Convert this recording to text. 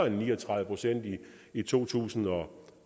end ni og tredive procent i to tusind og